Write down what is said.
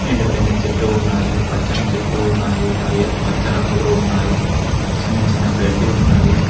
ఎండిపోయిన చెట్లు ఉన్నాయి పచ్చని చెట్లు ఉన్నాయి అయి పచ్చ రంగులో ఉన్నాయి చిన్న చిన్న గడ్డి ఉన్నది.